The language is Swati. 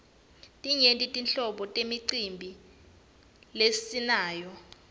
timyenti tinhlobo temicimbi lesinayo